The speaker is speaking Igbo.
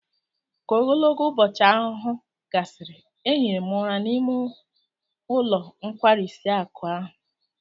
Ka ogologo ubochi ahuhu gasiri, ehiri m ura n'ime ulo nkwarisi akụ ahụ